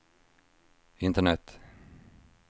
internet